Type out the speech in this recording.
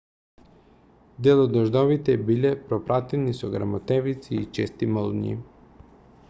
дел од дождовите биле пропратени со грмотевици и чести молњи